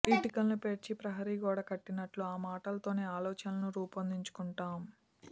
ఇటుకలను పేర్చి ప్రహరీ గోడ కట్టినట్టు ఆ మాటలతోనే ఆలోచనలను రూపొందించుకుంటాం